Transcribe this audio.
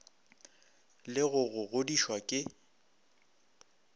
le go go godišwa ke